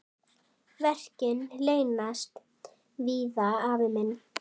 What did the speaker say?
Verkin leynast víða, afi minn.